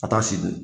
Ka taa se